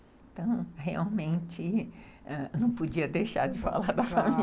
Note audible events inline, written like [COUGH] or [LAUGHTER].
Então, realmente, não podia deixar de falar da família. [LAUGHS]